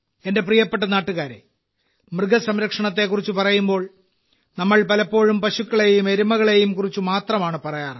എന്റെ പ്രിയപ്പെട്ട നാട്ടുകാരേ മൃഗസംരക്ഷണത്തെക്കുറിച്ച് പറയുമ്പോൾ നമ്മൾ പലപ്പോഴും പശുക്കളേയും എരുമകളേയും കുറിച്ച് മാത്രമാണ് പറയാറ്